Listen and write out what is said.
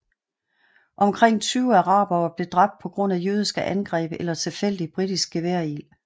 Omkring 20 arabere blev dræbt på grund af jødiske angreb eller tilfældig britisk geværild